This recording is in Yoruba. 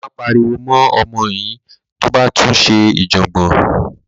Máa pariwo mọ́ ọmọ yín tó bá tún ṣe ìjọ̀gbọ̀n.